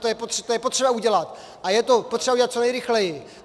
Tu je potřeba udělat a je to potřeba udělat co nejrychleji.